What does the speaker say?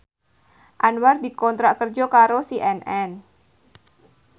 Anwar dikontrak kerja karo CNN